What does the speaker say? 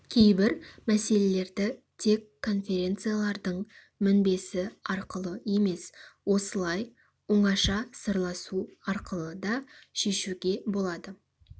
кейбір мәселелерді тек конференциялардың мінбесі арқылы емес осылай оңаша сырласу арқылы да шешуге болады